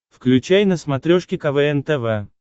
включай на смотрешке квн тв